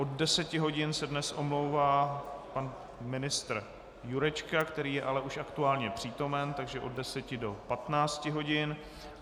Od 10 hodin se dnes omlouvá pan ministr Jurečka, který je ale už aktuálně přítomen, takže od 10 do 15 hodin.